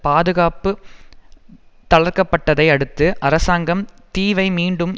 பாதுகாப்பு தளர்க்கப்பட்டதை அடுத்து அரசாங்கம் தீவை மீண்டும்